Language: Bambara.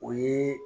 O ye